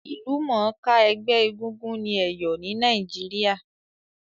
Ìlúmònká ẹgbẹ́ egúngún ni Èyò ni Naíjiria